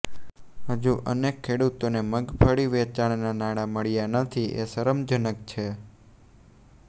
હજુ અનેક ખેડૂતોને મગફળી વેચાણના નાણાં મળ્યા નથી એ શરમજનક છે